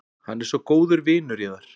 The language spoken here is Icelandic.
Hann er svo góður vinur yðar.